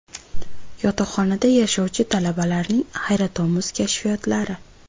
Yotoqxonada yashovchi talabalarning hayratomuz kashfiyotlari .